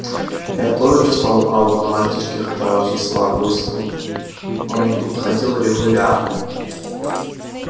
я тоже чувствовал ауру мальчишки хотя очень слабую и спутанную он тут ходил регулярно